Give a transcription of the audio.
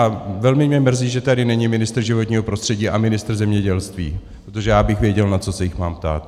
A velmi mě mrzí, že tady není ministr životního prostředí a ministr zemědělství, protože já bych věděl, na co se jich mám ptát.